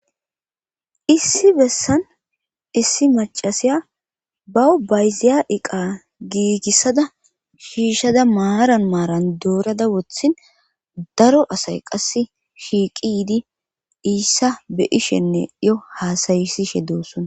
Issi bessan issi macasiya baw bayziya iqa giigissada shiishada maaran maaran doorada wothin daro asay qass shiiqi yiidi iissa be ishenne yo hasayisishe doossona.